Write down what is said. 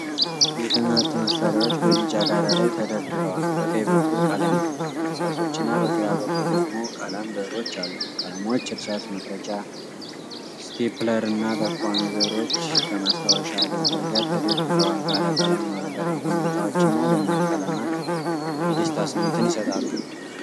የትምህርት መሣሪያዎች በቢጫ ዳራ ላይ ተደርድረዋል። በቀኝ በኩል ቀለም እርሳሶችና በግራ በኩል ደግሞ ቀለም ብዕሮች አሉ። ቀለሞች፣ እርሳስ መቅረጫ፣ ስቴፕለርና ጠቋሚ ብዕሮች ከማስታወሻ ደብተር ጋር ተደርድረዋል። ባለ ቀለም የወረቀት መቆንጠጫዎችና፤ ደማቅ ቀለማት የደስታ ስሜትን ይሰጣሉ።